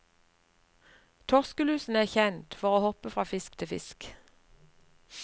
Torskelusen er kjent for å hoppe fra fra fisk til fisk.